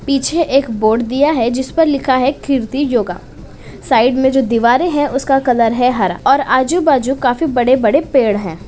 पीछे एक बोर्ड दिया है। जिस पर लिखा है किरीति योगा । साइड में जो दीवारे हैं उसका कलर है हरा और आजू-बाजू काफी बड़े-बड़े पेड़ हैं।